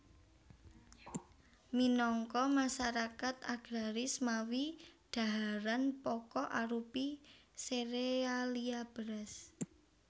Minangka masarakat agraris mawi dhaharan pokok arupi serealia beras